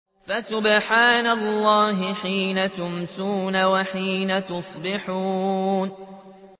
فَسُبْحَانَ اللَّهِ حِينَ تُمْسُونَ وَحِينَ تُصْبِحُونَ